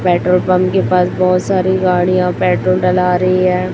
Petrol pump के पास बहुत सारी गाड़ियां पेट्रोल डला रही है।